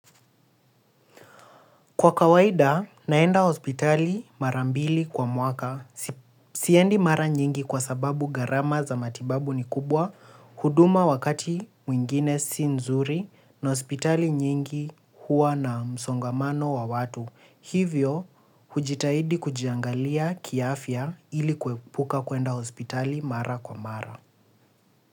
Kwa kawaida, naenda hospitali mara mbili kwa mwaka, siendi mara nyingi kwa sababu gharama za matibabu ni kubwa, huduma wakati mwingine si nzuri na hospitali nyingi huwa na msongamano wa watu. Hivyo, hujitahidi kujiangalia kiafya ili kuepuka kuenda hospitali mara kwa mara.